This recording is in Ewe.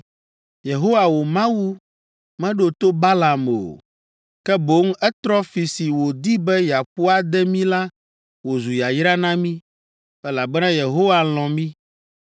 Yehowa wò Mawu meɖo to Balaam o, ke boŋ etrɔ fi si wòdi be yeaƒo ade mí la wòzu yayra na mí, elabena Yehowa lɔ̃ mí.